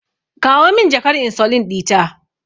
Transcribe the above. Kawo min jakar insulin ɗita.